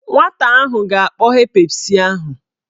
Nwata ahụ ga-akpọghe Pepsi ahụ.